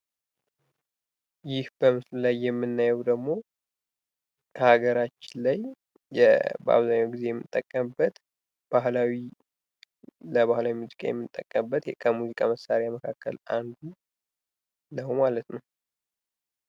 ይህ በምስሉ ላይ የምናየው ደግሞ ከአገራችን ላይ በአብዛኛው ጊዜ የምንጠቀምበት ለባህላዊ ሙዚቃ የምንጠቀምበት የዕቃ የሙዚቃ መሳሪያ ነው ማለት ነው።